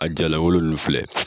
A jala wolo nun filɛ